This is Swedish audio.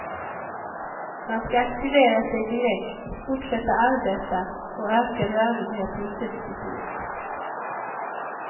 Man ska aktivera sig direkt, fortsätta arbeta och öka rörligheten successivt.